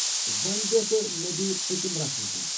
وونہِ بیہہ تہٕ مےٚ دِ یہِ پٔتِم رژھ وُچھنہٕ۔